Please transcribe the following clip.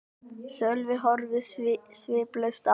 Sölvi horfði sviplaus á mig.